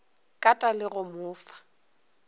kata le go mo fa